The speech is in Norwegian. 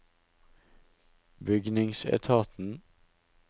bygningsetaten